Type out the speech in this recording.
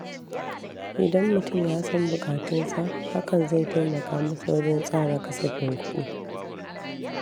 Idan mutum yasan buƙatunsa, hakan zai taimaka masa wajen tsara kasafin kuɗi